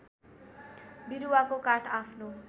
बिरुवाको काठ आफ्नो